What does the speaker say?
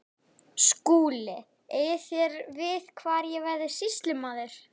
SKÚLI: Eigið þér við hvar ég verði sýslumaður?